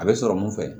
A bɛ sɔrɔ mun fɛ